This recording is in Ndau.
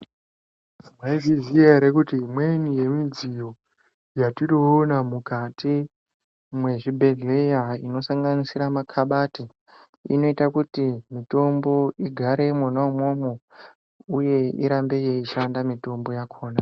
Mwaizviziya ere kuti imweni yemidziyo yatinoona mukati mwezvibhedhlera inosanganisira ma kabati, inoita kuti mitombo igare mwona umwomwo uye irambe yeishanda mitombo yakona.